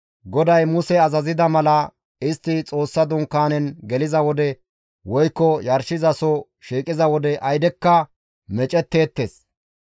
GODAY Muse azazida mala, istti Xoossa Dunkaanen geliza wode woykko yarshizaso shiiqiza wode aydekka meecetteettes.